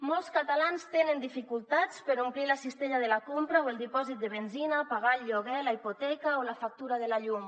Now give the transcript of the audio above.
molts catalans tenen dificultats per omplir la cistella de la compra o el dipòsit de benzina pagar el lloguer la hipoteca o la factura de la llum